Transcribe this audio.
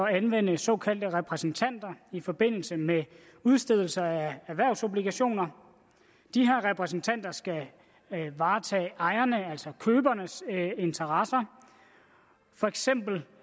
anvende såkaldte repræsentanter i forbindelse med udstedelser af erhvervsobligationer de her repræsentanter skal varetage ejernes altså købernes interesser for eksempel